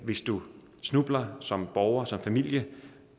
hvis du snubler som borger som familie